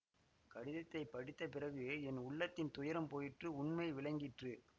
கடிதத்தை படித்த பிறகு என் உள்ளத்தின் துயரம் போயிற்று உண்மை விளங்கிற்று